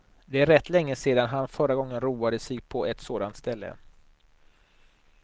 Det är rätt länge sedan han förra gången roade sig på ett sådant ställe.